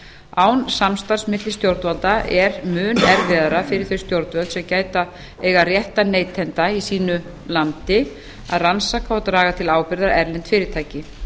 án samstarfs milli stjórnvalda er mun erfiðara fyrir þau stjórnvöld sem gæta eiga réttar neytenda í sínu landi að rannsaka og draga til ábyrgðar erlend fyrirtæki